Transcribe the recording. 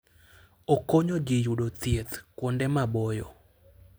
Okonyo ji yudo thieth kuonde maboyo.